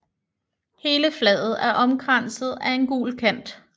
Hele flaget er omkranset af en gul kant